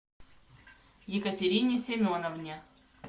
екатерине семеновне